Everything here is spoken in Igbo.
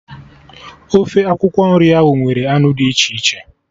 Ofe akwụkwọ nri ahụ nwere anụ dị iche iche